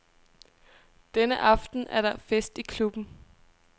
Denne aften er der fest i klubben.